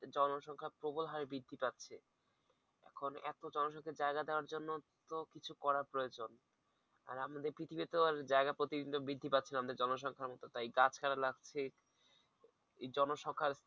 জনসংখ্যা প্রবল হারে বৃদ্ধি পাচ্ছে, এখন এতো জনসংখ্যা জায়গা দেওয়ার জন্য তো কিছু করার প্রয়োজন আর আমাদের পৃথিবী তো জায়গা প্রতিদিন তো বৃদ্ধি পাচ্ছে না আমাদের জনসংখ্যার মতো তাই গা ছাড়া লাগছে এই জনসংখ্যা